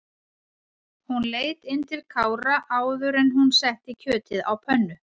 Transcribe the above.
Hún leit inn til Kára áður en hún setti kjötið á pönnu.